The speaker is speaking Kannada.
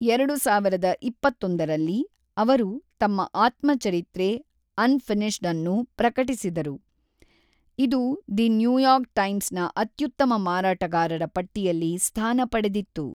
ಎರಡು ಸಾವಿರದ ಇಪ್ಪತ್ತೊಂದರಲ್ಲಿ, ಅವರು ತಮ್ಮ ಆತ್ಮಚರಿತ್ರೆ ಅನ್‌ಫಿನಿಶ್ಡ್‌ ಅನ್ನು ಪ್ರಕಟಿಸಿದರು, ಇದು ದಿ ನ್ಯೂಯಾರ್ಕ್ ಟೈಮ್ಸ್ ನ ಅತ್ಯುತ್ತಮ ಮಾರಾಟಗಾರರ ಪಟ್ಟಿಯಲ್ಲಿ ಸ್ಥಾನ ಪಡೆದಿತ್ತು.